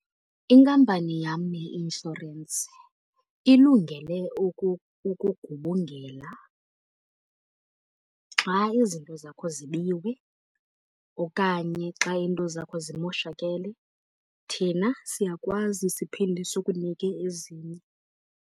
Inkampani yam yeinshorensi ilungele ukugubungela xa izinto zakho zibiwe okanye xa iinto zakho zimoshakele, thina siyakwazi siphinde sikunike ezinye.